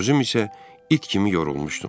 Özüm isə it kimi yorulmuşdum.